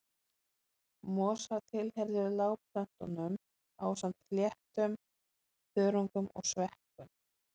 Mosar tilheyrðu lágplöntum ásamt fléttum, þörungum og sveppum.